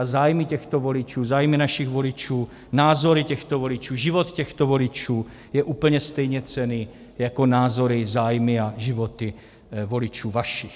A zájmy těchto voličů, zájmy našich voličů, názory těchto voličů, život těchto voličů je úplně stejně cenný jako názory, zájmy a životy voličů vašich.